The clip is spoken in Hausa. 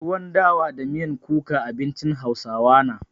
Tuwon dawa da miyan kuka abincin hausawa na.